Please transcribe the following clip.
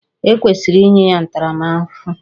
E kwesịrị inye ya ntaramahụhụ